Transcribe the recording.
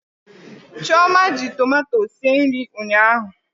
Chioma ji tomato sie nri ụnyaahụ.